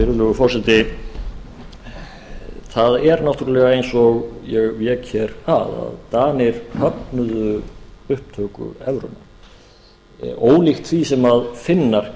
virðulegur forseti það er náttúrlega eins og ég vék hér að að danir höfnuðu upptöku evrunnar ólíkt því sem finnar